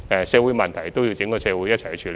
社會問題要由整個社會共同處理。